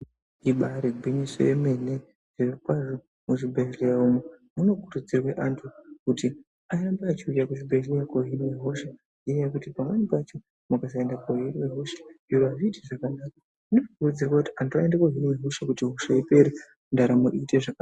Ibairi ngwinyiso yemene zviro kwazvo mu zvibhedhleya umo muno kurudzirwe antu kuti arambe achi uya ku zvibhedhleya ko hinwa hosha nge nyaya yekuti pamweni pacho mukasa ende ku hinwe hosha azviiti zvakanaka zvino kurudzirwa kuti antu ayende ko hinwa hosha kuti hosha ipere ndaramo ite zvakanaka.